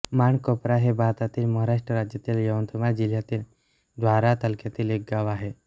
माणकोपरा हे भारतातील महाराष्ट्र राज्यातील यवतमाळ जिल्ह्यातील दारव्हा तालुक्यातील एक गाव आहे